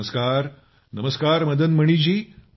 नमस्कारनमस्कार Madan Mani जी